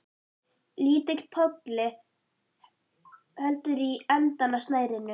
Lítill polli heldur í endann á snærinu.